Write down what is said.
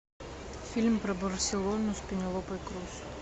фильм про барселону с пенелопой крус